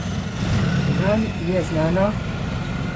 Vam je znano?